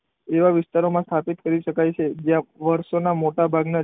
એવા વિસ્તારોમાં સ્થાપિત કરી શકાય છે. જ્યાં, વર્ષોના મોટાભાગના